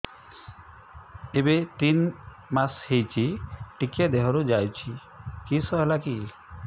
ଏବେ ତିନ୍ ମାସ ହେଇଛି ଟିକିଏ ଦିହରୁ ଯାଉଛି କିଶ ହେଲାକି